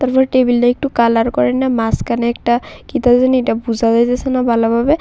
টেবিলটা একটি কালার করাইন্না মাঝখানে একটা কিডাজানি এডা বোঝা যাইতেছে না ভালোভাবে।